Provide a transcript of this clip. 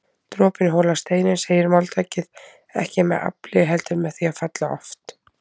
Dropinn holar steininn segir máltækið, ekki með afli heldur með því að falla oft